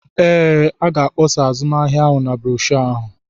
Ee, a ga-akpọsa azụmahịa ahụ na broshuọ ahụ.